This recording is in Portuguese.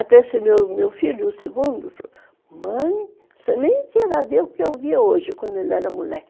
Até esse meu filho, o segundo, falou, mãe, você nem queira ver o que eu vi hoje, quando ele era moleque.